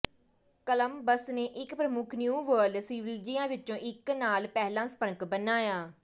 Columbus ਨੇ ਇੱਕ ਪ੍ਰਮੁੱਖ ਨਿਊ ਵਰਲਡ ਸਿਵਿਲਿਜ਼ੀਆਂ ਵਿੱਚੋਂ ਇੱਕ ਨਾਲ ਪਹਿਲਾ ਸੰਪਰਕ ਬਣਾਇਆ